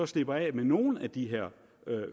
slipper af med nogle af de her